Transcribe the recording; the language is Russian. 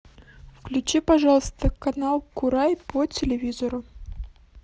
включи пожалуйста канал курай по телевизору